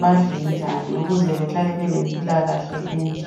badle njani, ukuze bahlale bele mpilakahle enhle.